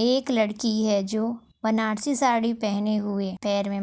एक लड़की है जो बनारसी साड़ी पहने हुए पैर मे